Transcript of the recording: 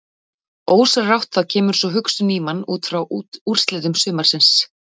Ósjálfrátt þá kemur sú hugsun í mann útfrá úrslitum sumarsins.